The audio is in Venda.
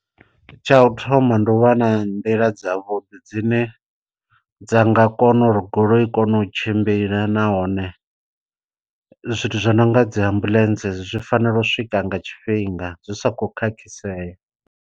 Tsha u thoma ndi u vha na nḓila dzavhuḓi dzine dza nga kona uri goloi i kone u tshimbila, nahone zwithu zwo no nga dzi ambuḽentse zwi fanela u swika nga tshifhinga zwi sa khou khakhisea.